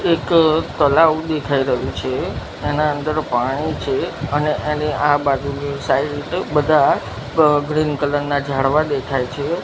એક તલાવ દેખાય રહ્યુ છે એના અંદર પાણી છે અને એની આ બાજુની સાઇડ બધા ગ ગ્રીન કલર ના ઝાડવા દેખાય છે.